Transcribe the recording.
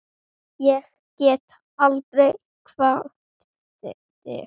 Ég get aldrei kvatt þig.